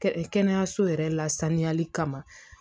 Kɛnɛyaso yɛrɛ lasaniyali kama